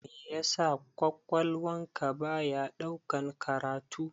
Meya sa ƙwaƙwalwan ka baya ɗaukan karatu?